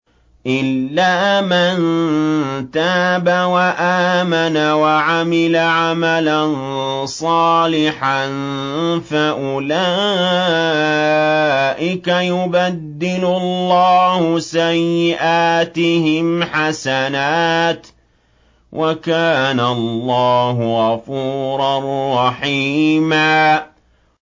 إِلَّا مَن تَابَ وَآمَنَ وَعَمِلَ عَمَلًا صَالِحًا فَأُولَٰئِكَ يُبَدِّلُ اللَّهُ سَيِّئَاتِهِمْ حَسَنَاتٍ ۗ وَكَانَ اللَّهُ غَفُورًا رَّحِيمًا